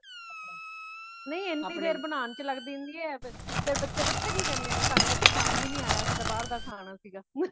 ਨਹੀਂ ਏਨੀ ਦੇਰ ਬਨਾਣ ਵਿੱਚ ਲੱਗ ਜਾਂਦੀ ਹੈ ਫੇਰ ਬੱਚੇ ਪਤਾ ਕਿ ਕੈਂਹਦੇ ਨੇ ਸਾਨੂ ਤੇ ਪਸੰਦ ਹੀ ਨਹੀਂ ਆਯਾ ਸੀ ਗਾ ਅਸੀਂ ਤੇ ਬਾਹਰ ਦਾ ਖਾਣਾ ਸੀ ਗਾ